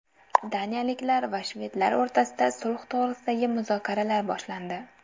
Daniyaliklar va shvedlar o‘rtasida sulh to‘g‘risidagi muzokaralar boshlandi.